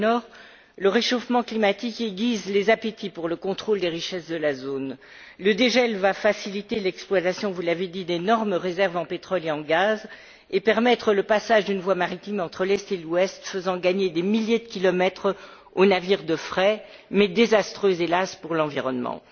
Au pôle Nord, le réchauffement climatique aiguise les appétits pour le contrôle des richesses de la zone. Le dégel va faciliter l'exploitation vous l'avez dit d'énormes réserves en pétrole et en gaz, et permettre le passage d'une voie maritime entre l'Est et l'Ouest, faisant gagner des milliers de kilomètres aux navires de fret, mais désastreuse hélas pour l'environnement.